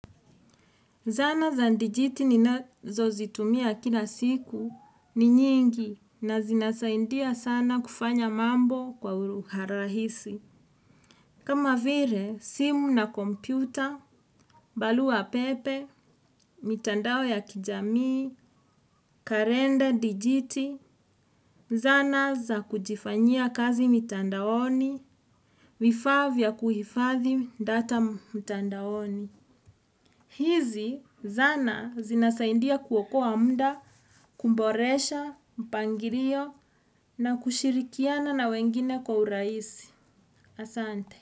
Zana za dijiti ninazo zitumia kila siku ni nyingi na zinasaidia sana kufanya mambo kwa urahisi. Kama vile, simu na kompyuta, barua pepe, mitandao ya kijami, kalenda dijiti, zana za kujifanyia kazi mitandaoni, vafaa vya kuhifadhi data mitandaoni. Hizi zana zinasaidia kuokoa muda, kuboresha, mpangilio na kushirikiana na wengine kwa urahisi. Asante.